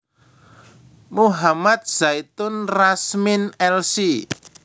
Muhammad Zaitun Rasmin Lc